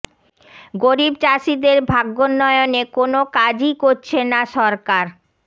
গরিব চাষিদের ভাগ্যোন্নয়নে কোনো কাজই করছে না সরকার